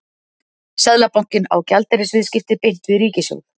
Seðlabankinn á gjaldeyrisviðskipti beint við ríkissjóð.